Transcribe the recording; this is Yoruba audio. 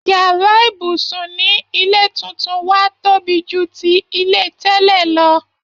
Yàrá ibùsùn ni ilé túntún wa tobi ju ti ilé tẹ́lẹ̀ lọ